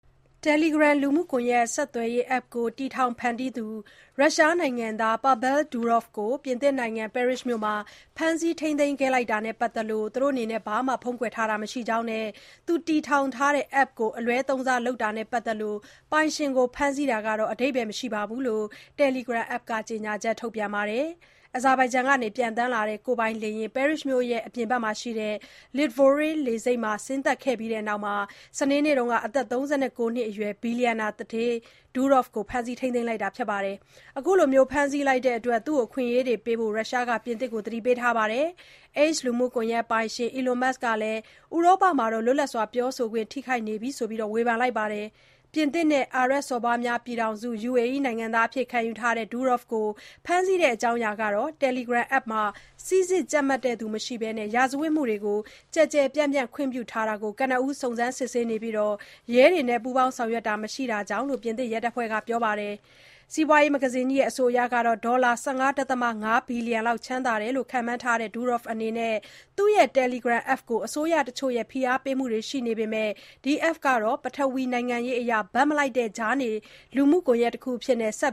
Telegram လူမှုကွန်ယက် ဆက်သွယ်ရေး App ကို တည်ထောင်ဖန်တီးသူ ရုရှားနိုင်ငံသား Pavel Durov ပြင်သစ်နိုင်ငံ ပဲရစ်မြို့မှာ ဖမ်းဆီး ထိန်းသိမ်းခံရတာနဲ့ ပတ်သက်လို့ ဘာမှ ဖုံးကွယ်ထားတာ မရှိတဲ့အကြောင်း နဲ့ သူတည်ထောင်တဲ့ App ကို အလွဲသုံးစားလုပ်တာနဲ့ ပတ်သက်လို့ ပိုင်ရှင်ကို ဖမ်းဆီးတာဟာ အဓိပ္ပာယ်မရှိတဲ့အကြောင်း Telegram app က ကြေညာချက် ထုတ်ပြန်ပါတယ်။ အာဇာဘိုင်ဂျန်က ပျံသန်းလာတဲ့ ကိုယ်ပိုင်လေယာဉ် ပဲရစ်မြို့အပြင်ဘက်က Le Bourget လေဆိပ်မှာ ဆင်းသက်ပြီးနောက် စနေနေ့က အသက် ၃၉ နှစ်အရွယ် ဘီလျံနာ သူဌေး Durov ကို ဖမ်းဆီး ထိန်းသိမ်းလိုက်တာပါ။ အခုလို ဖမ်းဆီးလိုက်တဲ့အတွက် သူ့ရဲ့ အခွင့်အရေးတွေပေးဖို့ ရုရှားက ပြင်သစ်ကို သတိပေးထားပြီး X လူမှုကွန်ယက်ပိုင်ရှင် Elon Musk က ဥရောပမှာ လွတ်လပ်စွာ ပြောဆိုခွင့်ကို ထိခိုက်နေပြီလို့ ဝေဖန်ပါတယ်။ ပြင်သစ် နဲ့ အာရပ်စော်ဘွားများပြည်ထောင်စု UAE နိုင်ငံသား အဖြစ်လည်း ခံယူထားတဲ့ Durov ကို ဖမ်းဆီးတဲ့အကြောင်းကတော့ Telegram app မှာ စိစစ်ကြပ်မတ်သူမရှိပဲ ရာဇဝတ်မှုတွေကို ကျယ်ကျယ်ပြန့်ပြန့် ခွင့်ပြုထားတာကို ကနဦး စုံစမ်းစစ်ဆေးနေပြီး ရဲတွေနဲ့ ပူးပေါင်း ဆောင်ရွက်တာ မရှိတာကြောင့်လို့ ပြင်သစ်ရဲတပ်ဖွဲ့က ပြောပါတယ်။ Forbes စီးပွားရေးမဂ္ဂဇင်းကြီးရဲ့ အဆိုအရ ဒေါ်လာ ၁၅.၅ ဘီလီယံလောက် ချမ်းသာတယ်လို့ ခန့်မှန်းရတဲ့ Durov ကတော့ သူ့ရဲ့ Telegram app ကို အစိုးရတချို့ရဲ့ ဖိအားပေးမှုတွေ ရှိနေပေမယ့် ဒီ App ဟာ ပထဝီနိုင်ငံရေးအရ ဘက်မလိုက်တဲ့ ကြားနေ လူမှုကွန်ယက်တခုအဖြစ် ဆက်